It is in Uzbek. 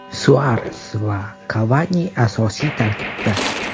Suares va Kavani asosiy tarkibda.